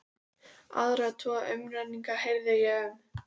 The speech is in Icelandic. Aðra tvo umrenninga heyrði ég um.